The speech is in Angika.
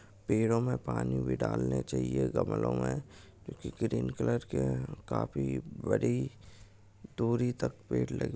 पेड़ों में पानी भी डालने चहिये गमले में ग्रीन कलर के काफी बड़ी दुरी तक पेड़ लगे--